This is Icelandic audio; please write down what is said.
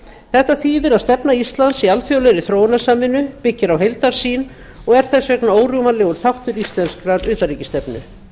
þetta þýðir að stefna íslands í alþjóðlegri þróunarsamvinnu byggir á heildarsýn og er þess vegna órjúfanlegur þáttur íslenskrar utanríkisstefnu